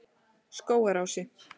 Skógarási